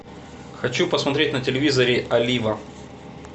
хочу посмотреть на телевизоре олива